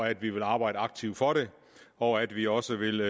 at vi vil arbejde aktivt for det og at vi også vil